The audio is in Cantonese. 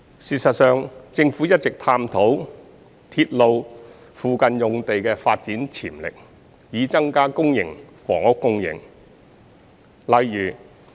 事實上，政府一直探討鐵路附近用地的發展潛力，以增加公營房屋供應。